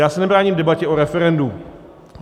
Já se nebráním debatě o referendu.